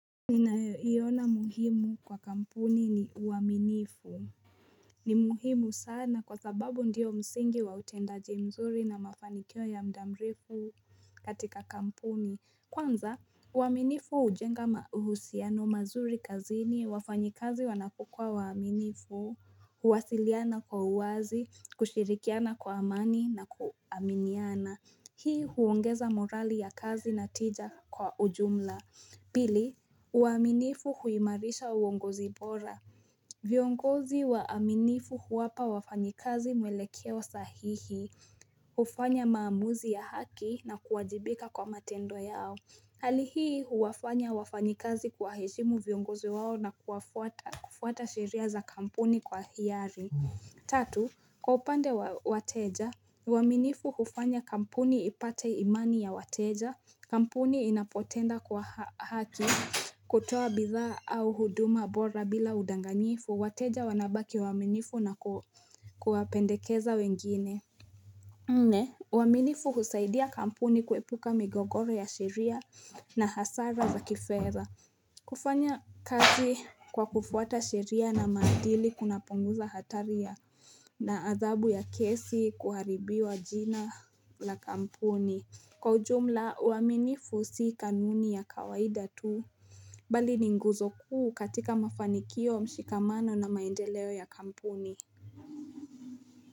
Ninayoiona muhimu kwa kampuni ni, uaminifu. Ni muhimu sana kwa sababu ndiyo msingi wa utendaji mzuri na mafanikio ya muda mrefu katika kampuni. Kwanza, uaminifu hujenga mauhusiano mazuri kazini. Wafanyikazi wanapokuwa uaminifu, huwasiliana kwa uwazi, kushirikiana kwa amani na kuaminiana. Hii huongeza morali ya kazi na tija kwa ujumla Pili, uaminifu huimarisha uongozi bora viongozi waaminifu huwapa wafanyikazi mwelekeo sahihi. Hufanya maamuzi ya haki na kuwajibika kwa matendo yao. Hali hii huwafanya wafanyikazi kuwaheshimu viongozi wao na kufuata sheria za kampuni kwa hiari. Tatu, kwa upande wa wateja, uaminifu hufanya kampuni ipate imani ya wateja. Kampuni inapotenda kwa haki kutoa bidhaa au huduma bora bila udanganyifu, wateja wanabaki waaminifu na kuwapendekeza wengine. Nne, uaminifu husaidia kampuni kuepuka migogoro ya sheria na hasara za kifedha. Kufanya kazi kwa kufuata sheria na madili, kuna punguza hatari na adhabu ya kesi, kuharibiwa jina la kampuni. Kwa ujumla uaminifu si kanuni ya kawaida tu. Bali ni nguzo kuu katika mafanikio, mshikamano na maendeleo ya kampuni.